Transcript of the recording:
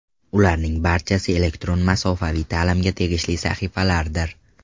Ularning barchasi elektron masofaviy ta’limga tegishli sahifalardir.